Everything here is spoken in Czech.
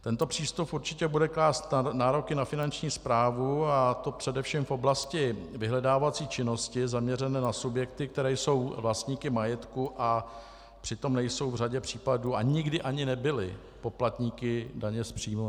Tento přístup určitě bude klást nároky na finanční správu, a to především v oblasti vyhledávací činnosti zaměřené na subjekty, které jsou vlastníky majetku, a přitom nejsou v řadě případů a nikdy ani nebyly poplatníky daně z příjmu.